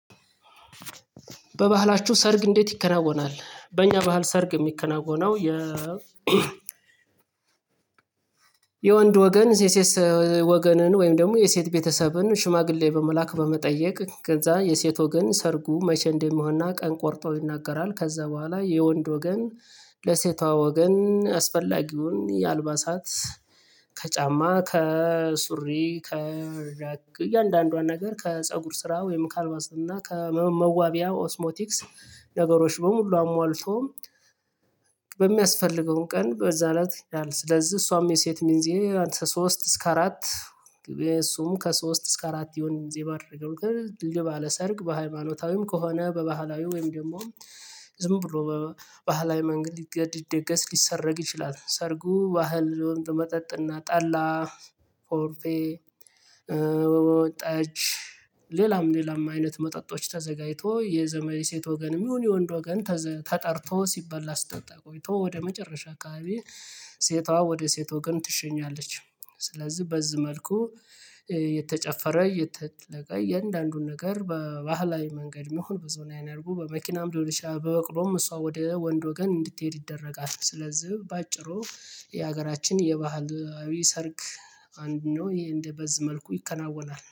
በባህላችሁ ሰርግ እንዴት? ይከናወናል በእኛ ባህል ሰርግ የሚከናወነው የ የወንድ ወገን የሴስ ወገንን ወይም ደግሞ የሴት ቤተሰብን ሽማግሌ በመላክ በመጠየቅ ከዛ የሴት ወገን ሰርጉ መቼ እንደሚሆን እና ቀን ቆርጦ ይናገራል ከዛ በኋላ የወንድ ወገን ለሴቷ ወገን አስፈላጊውን የአልባሳት ከጫማ ከሱሪ ከያንዳንዷን ነገር ከፀጉር ስራ ወይም ካልባስ እና ከመዋቢያ ኦስሞቲክስ ነገሮች በሙሉ አሟልቶ በሚያስፈልገውን ቀን በዛ እለት ስለዚህ እሷም የሴት ሚዜ ሶስት እስከ አራት የእሱም ከሶስት እስከ አራት ይሁን። እዚህ ጊዜ ባደረገው ድልድይ ባለ ሰርግ በሃይማኖታዊም ከሆነ በባህላዊው ወይም ደግሞ ዝም ብሎ በባህላዊ መንገድ ሊገ ሊደገስ ሊሰረግ ይችላል። ሰርጉ ባህል መጠጥና ጠላ ኮረፌ እ ጠጅ ሌላም ሌላም አይነት መጠጦች ተዘጋጅቶ የዘመድ ሴት ወገን የሚሆን የወንድ ወገን ተጠርቶ ሲበላ ሲጠጣ ቆይቶ ወደ መጨረሻ አካባቢ ሴቷ ወደ ሴቷ ወገን ትሸኛለች። ስለዚህ በዚህ መልኩ እ የተጨፈረ የተጠቀ የእያንዳንዱን ነገር በባህላዊ መንገድ መሆን ብዙን ያናርጉ በመኪናም ሊሆን ይችላል በበቅሎም እሷ ወደ ወንድ ወገን እንድትሄድ ይደረጋል። ስለዚህ በአጭሩ የሀገራችን የባህላዊ ሰርግ አንድ ነው ይሄ እንደበዝ መልኩ ይከናወናል